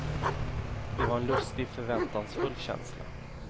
Det var en lustig, förväntansfull känsla.